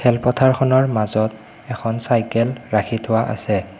খেল পথাৰখনৰ মাজত এখন চাইকেল ৰাখি থোৱা আছে।